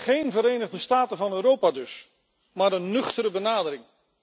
Geen Verenigde Staten van Europa dus, maar een nuchtere benadering.